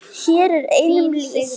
Hér er einum lýst.